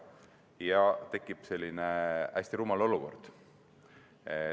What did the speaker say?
Sedasi tekib hästi rumal olukord.